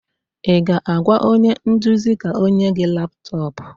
Ị ga-agwa onye nduzi ka o nye gị laptọọpụ?